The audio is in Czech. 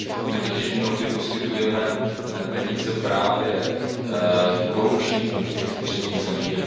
My totiž mnohdy poskytujeme peníze právě korupčníkům v těch třetích zemích.